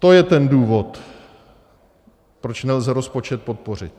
To je ten důvod, proč nelze rozpočet podpořit.